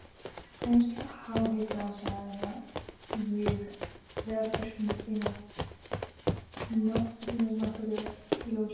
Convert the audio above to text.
Tengsl háhitasvæðanna við eldvirkni sýnast nokkuð ljós.